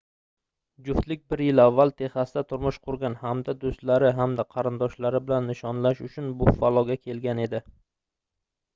juftlik bir yil avval texasda turmush qurgan hamda doʻstlari hamda qarindoshlari bilan nishonlash uchun buffaloga kelgan edi